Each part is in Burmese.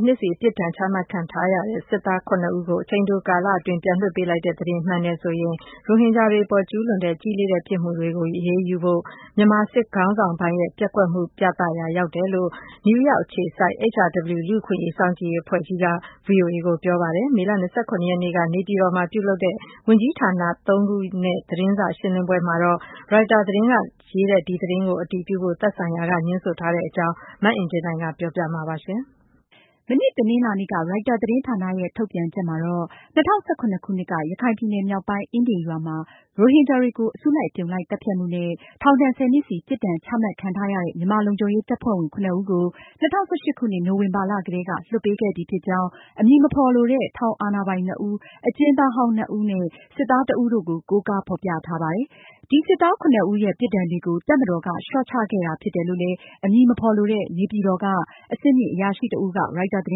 ် နှစ်စီ ပြစ်ဒဏ်ချမှတ်ခံထားရတဲ့ စစ်သား ဦးကို အချိန်တိုကာလအတွင်း ပြန်လွှတ်ပေးလိုက်တဲ့သတင်းမှန်တယ်ဆိုရင်ရိုဟင်ဂျာတွေအပေါ် ကျူးလွန်တဲ့ ကြီးလေးတဲ့ ပြစ်မှုတွေကို အရေးယူဖို့ မြန်မာစစ်ခေါင်းဆောင်ပိုင်းရဲ့ ပျက်ကွက်မှုကို ပြသရာရောက်တယ်လို့ နယူးရောက် အခြေစိုက် HRW လူ့အခွင့်အရေး စောင့်ကြည့်ရေး အဖွဲ့ကြီးက ဗွီအိုအေကို ပြောပါတယ်။ မေလ ရက်နေ့က နေပြည်တော်မှာပြုလုပ်တဲ့ ဝန်ကြီးဌာန သုံးခုရဲ့ သတင်းစာရှင်းလင်းပွဲမှာတော့ ရိုက်တာသတင်းမှာ ဖေါ်ပြထားတဲ့ စစ်သား ဦး လွှတ်ပေးလိုက်တယ်ဆိုတဲ့ သတင်းကို အတည်ပြုဖို့ သက်ဆိုင်ရာ တာဝန်ရှိသူတွေက ငြင်းဆိုသွားပါတယ်။ မအင်ကြင်းနိုင်က အပြည့်အစုံကို တင်ဆက်မှာပါ။ မနေ့ တနင်္လာနေ့က ရိုက်တာသတင်းဌာနရဲ့ ထုတ်ပြန်ချက်မှာ- ၂၀၁၇ခုနှစ်က ရခိုင်ပြည်နယ် မြောက်ပိုင်း အင်းဒင်ရွာမှာ ရိုဟင်ဂျာတွေကို အစုလိုက်အပြုံလိုက်သတ်ဖြတ်မှုနဲ့ ထောင်ဒဏ် နှစ်စီ ပြစ်ဒဏ်ချမှတ်ခံထားရတဲ့ မြန်မာလုံခြုံရေးတပ်ဖွဲ့ဝင် ဦးကို ၂၀၁၈ခုနှစ် နိုဝင်ဘာလကတည်းက လွှတ်ပေးခဲ့ပြီဖြစ်ကြောင်း အမည်မဖေါ်လိုတဲ့ ထောင်အာဏာပိုင် နှစ်ဦး၊ အကျဉ်းသားဟောင်း နှစ်ဦးနဲ့ စစ်သားတဦးတို့ကို ကိုးကားဖေါ်ပြထားပါတယ်။ ဒီစစ်သား ဦးရဲ့ ပြစ်ဒဏ်တွေကို တပ်မတော်က လျော့ချခဲ့တာဖြစ်တယ်လို့လည်း အမည်မဖေါ်လိုတဲ့ နေပြည်တော်က အဆင့်မြင့်အရာရှိတဦးက ရိုက်တာသတ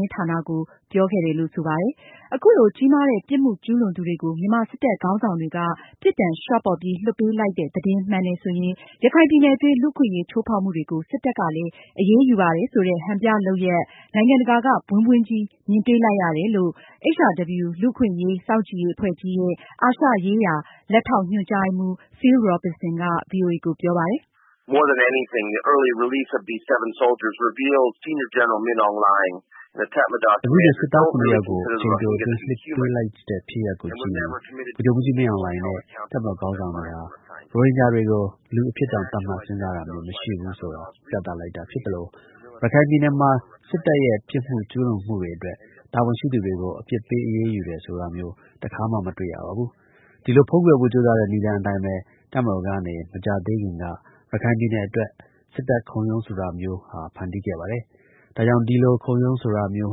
င်းဌာနကို ပြောကြားခဲ့တယ်လို့ ဆိုပါတယ်။ အခုလို ကြီးမားတဲ့ ပြစ်မှုကျူးလွန်သူတွေကို မြန်မာစစ်တပ်ခေါင်းဆောင်တွေက ပြစ်ဒဏ်လျော့ပေါ့ပြီး လွှတ်ပေးလိုက်တဲ့ သတင်းမှန်တယ်ဆိုရင် ရခိုင်ပြည်နယ်အတွင်း လူ့အခွင့်အရေးချိူးဖောက်မှုတွေကို စစ်တပ်ကလည်း အရေးယူပါတယ်ဆိုတဲ့ ဟန်ပြလုပ်ရပ်ကို နိုင်ငံတကာက ဘွင်းဘွင်းကြီး မြင်တွေ့လိုက်ရတာဖြစ်တယ်လို့ HRW လူ့အခွင့်အရေး စောင့်ကြည့်ရေးအဖွဲ့ကြီးရဲ့ အာရှရေး လက်ထောက် ညွန်ကြားရေးမှူး Phil Robertson က ဗွီအိုအေကိုပြောပါတယ်။ “အခုလို စစ်သား ယောက်ကို အချိန်တိုအတွင်း လွှတ်ပေးလိုက်တဲ့ ဖြစ်ရပ်ကို ကြည့်ရင် ဗိုလ်ချုပ်မှူးကြီး မင်းအောင်လှိုင်နဲ့ တပ်မတော် ခေါင်းဆောင်တွေဟာ ရိုဟင်ဂျာတွေကို လူအဖြစ်တောင် သတ်မှတ်စဉ်းစားတာမျိုးမရှိဘူးဆိုတာ ပြသလိုက်တာဖြစ်သလို ရခိုင်ပြည်နယ်မှာ စစ်တပ်ရဲ့ ပြစ်မှုကျူးလွန်မှုတွေအတွက် တာဝန်ရှိသူတွေကို အပြစ်ပေးအယူတယ်ဆိုတာမျိုး တခါမှ မတွေ့ရပါဘူး။ ဒီလို ဖုံးကွယ်ဖို့ကြိုးစားတဲ့ နည်းလမ်းအတိုင်းပဲ တပ်မတော်ကနေ မကြာသေးခင်က ရခိုင်ပြည်နယ်အတွက် စစ်တပ် ခုံရုံးဆိုတာမျိုးဟာ ဖန်တီးခဲ့ပါတယ်။ ဒါကြောင့် ဒီလို ခုံရုံးဆိုတာမျိုး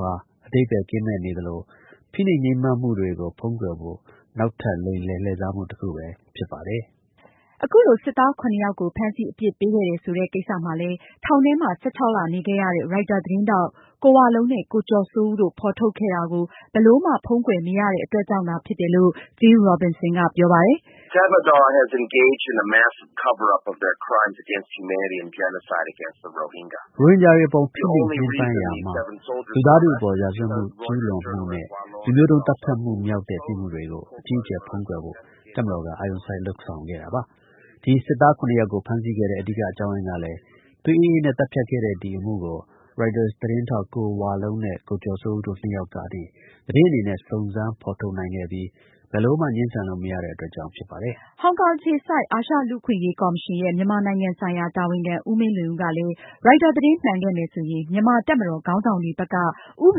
ဟာ အဓိပ္ပါယ် ကင်းမဲ့နေသလို ဖိနှိပ်ညှင်းပမ်းမှုတွေကို ဖုံးကွယ်ဖို့ နောက်ထပ် လိမ်လည် လှည့်စားမှု တခုပဲဖြစ်ပါတယ်။” အခုလို စစ်သား ယောက်ကို ဖမ်းဆီး အပြစ်ပေးခဲ့တယ်ဆိုတဲ့ကိစ္စမှာလည်း ထောင်ထဲမှာ လ နေခဲ့ရတဲ့ ရိုက်တာသတင်းထောက် ကိုဝလုံးနဲ့ ကိုကျော်စိုးဦးတို့ ဖေါ်ထုတ်ခဲ့တာကို မြန်မာစစ်ခေါင်းဆောင်တွေက ဘယ်လိုမှ ဖုံးကွယ် မရတဲ့အတွက်ကြောင့်သာဖြစ်တယ်လို့ Phil Robertson ကပြောပါတယ်။ “ရိုဟင်ဂျာတွေအပေါ် ဖိနှိပ်ညှင်းပမ်းရာမှာ လူသားထုအပေါ် ရာဇဝတ်ကျူးလွန်မှုနဲ့ လူမျိုးတုန်းသတ်ဖြတ်မှု မြောက်တဲ့ ပြစ်မှုတွေကို အကြီးအကျယ် ဖုံးကွယ်ဖို့ တပ်မတော်က အာရုံစိုက်လုပ်ဆောင်ခဲ့တာပါ။ ဒီစစ်သား ယောက်ကို ဖမ်းဆီးခဲ့တဲ့ အဓိကအကြောင်းရင်းကလည်း သွေးအေးအေးနဲ့ သတ်ဖြတ်ခဲ့တဲ့ ဒီအမှုကို ရိုက်တာသတင်းထောက် ကိုဝလုံးနဲ့ ကိုကျော်စိုးဦး တို့နှစ်ယောက်ကနေ သတင်းအနေနဲ့ စုံစမ်းဖေါ်ထုတ်နိုင်ခဲ့ပြီး ဘယ်လိုမှ ငြင်းဆန်လို့မရတဲ့အတွက် ကြောင့် ဖြစ်ပါတယ်။” ဟောင်ကောင်အခြေစိုက် အာရှလူ့အခွင့်အရေးကော်မရှင်ရဲ့ မြန်မာနိုင်ငံဆိုင်ရာ တာဝန်ခံ ဦးမင်းလွင်ဦးကလည်း ရိုက်တာသတင်း မှန်ကန်ခဲ့မယ်ဆိုရင် မြန်မာတပ်မတော် ခေါင်းဆောင်တွေဘက် ဥပ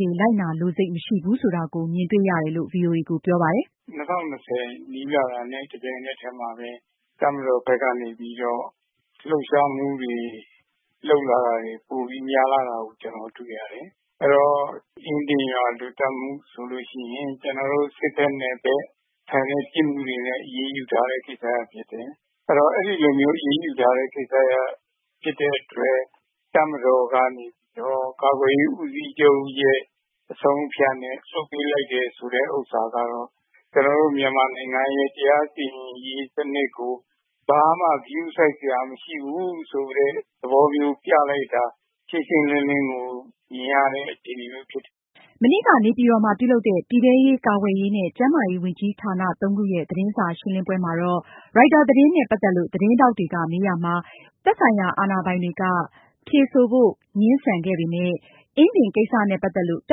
ဒေလိုက်နာလိုစိတ် မရှိဘူးဆိုတာကို မြင်တွေ့ရတယ်လို့ ဗွီအိုအေကို ပြောပါတယ်။ “၂၀၂၀ နီးလာတာနဲ့ တပြိုင်နက်တည်းမှာပဲ တပ်မတော်ဘက်ကနေပြီးတော့ လှုပ်ရှားမှုတွေလုပ်လာတာတွေပိုပြီးများလာကို ကျနော်တို့တွေ့ရတယ်။ အဲဒီတော့ အင်းဒင်ရွာလူသတ်မှုဆိုရင် စစ်ဘက်နဲ့ဆိုင်တဲ့ အရေးယူထားတဲ့ ကိစ္စရပ်ဖြစ်တယ်။ အဲဒီတော့ အဲလိုမျိုးအရေးယူတဲ့ ကိစ္စရပ်ဖြစ်တဲ့အတွက် တပ်မတော်ကနေပြီးတော့ ကာကွယ်ရေးဦးစီးချုပ်ရဲ့ အဆုံးအဖြတ်နဲ့ လွှတ်ပေးလိုက်တယ်ဆိုတာကတော့ ကျနော်တို့မြန်မာနိုင်ငံရဲ့ တရားစီရင်ရေးစနစ်ကို ဘာမှ ဂရုစိုက်စရာမရှိဘူးဆိုတဲ့ သဘောမျိုး ပြလိုက်တာ ရှင်းရှင်းလင်းလင်းကို မြင်ရတဲ့ အခြေအနေမျိုးဖြစ်တယ်။” မနေ့က နေပြည်တော်မှာ ပြုလုပ်တဲ့ ပြည်ထဲရေး၊ ကာကွယ်ရေးနဲ့ ကျန်းမာရေးဝန်ကြီးဌာန သုံးခုရဲ့ သတင်းစာရှင်းလင်းပွဲမှာတော့ ရိုက်တာသတင်းနဲ့ ပတ်သက်လို့ သတင်းထောက်တွေက မေးရာမှာ အတည်ပြုဖို့ သက်ဆိုင်ရာ တာဝန်ရှိသူတွေက ငြင်းဆိုခဲ့ပေမယ့် အင်ဒင်းကိစ္စနဲ့ ပတ်သက်လို့ တ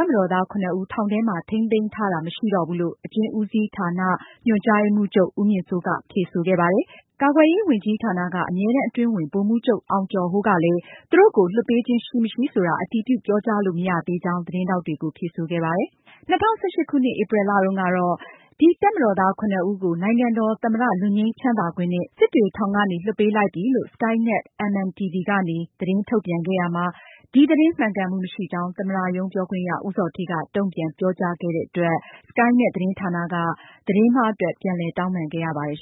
ပ်မတော်သား ၇ ဦး ထောင်ထဲမှာ ထိန်းသိမ်းထားတာ မရှိတော့ဘူးလို့ အကျဉ်းဦးစီးဌာန ညွှန်ကြားရေးမှုးချုပ် ဦးမြင့်စိုးကဖြေဆိုခဲ့ပါတယ်။ အလားတူ ကာကွယ်ရေးဝန်ကြီးဌာနက အမြဲတမ်းအတွင်းဝန် ဗိုလ်မှူးချုပ် အောင်ကျော်ဟိုးကလည်း သူတို့ကို လွှတ်ပေးခြင်းရှိမရှိဆိုတာ အတည်ပြု ပြောကြားလို့ မရသေးကြောင်း သတင်းထောက်တွေကို ဖြေဆိုခဲ့ပါတယ်။ ၂၀၁၈ခုနှစ် ဧပြီလတုန်းကတော့ ဒီတပ်မတော်သား ၇ ဦးကို နိုင်ငံတော် သမ္မတ လွတ်ငြိမ်းချမ်းသာခွင့်နဲ့ စစ်တွေထောင်ကနေ လွှတ်ပေးလိုက်ပြီးလို့ Sky Net MNTV ကနေ သတင်းထုတ်ပြန်ခဲ့ရာမှာ ဒီသတင်း မှန်ကန်မှု မရှိကြောင်း သမ္မတရုံး ပြောခွင့်ရ ဦးဇော်ဌေးက တုန့်ပြန်ပြောကြားခဲ့တဲ့အတွက် Sky Net သတင်းဌာနက သတင်းမှားအတွက် ပြန်လည်တောင်းပန်ခဲ့ရပါတယ်